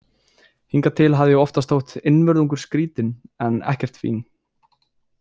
Hingað til hafði ég oftast þótt einvörðungu skrítin en ekkert fín.